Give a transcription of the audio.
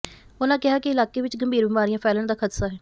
ਉਨ੍ਹਾਂ ਕਿਹਾ ਕਿ ਇਲਾਕੇ ਵਿੱਚ ਗੰਭੀਰ ਬਿਮਾਰੀਆਂ ਫੈਲਣ ਦਾ ਖ਼ਦਸ਼ਾ ਹੈ